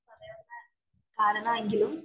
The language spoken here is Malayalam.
കാരണം, എങ്കിലും